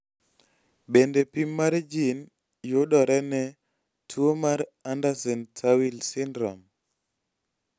bende pim mar jin yodore ne tuo mar Andersen Tawil syndrome?